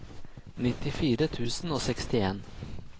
nittifire tusen og sekstien